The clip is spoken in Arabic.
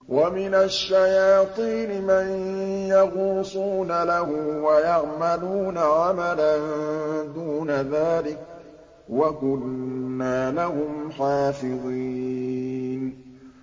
وَمِنَ الشَّيَاطِينِ مَن يَغُوصُونَ لَهُ وَيَعْمَلُونَ عَمَلًا دُونَ ذَٰلِكَ ۖ وَكُنَّا لَهُمْ حَافِظِينَ